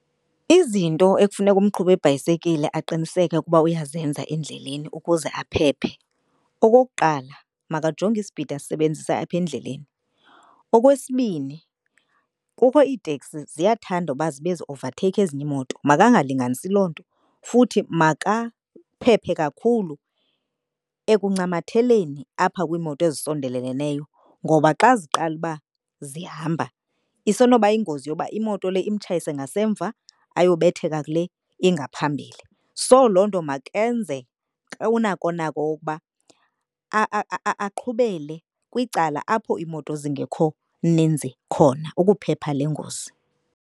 Izinto ekufuneka umqhubi webhayisekile aqiniseke ukuba uyazenza endleleni ukuze aphephe. Okokuqala, makajonge ispidi asisebenzisa apha endleleni. Okwesibini, kukho iiteksi ziyathanda uba zibe zi-ovatheyikha ezinye iimoto makangalinganisi loo nto. Futhi makaphephe kakhulu ekuncamatheleni apha kwiimoto ezisondeleleneyo, ngoba xa ziqala uba zihamba isenoba yingozi yoba imoto le imtshayise ngasemva ayobetheka kule ingaphambile. So, loo nto makenze unako nako ukuba aqhubele kwicala apho iimoto zingekho ninzi khona ukuphepha le ngozi.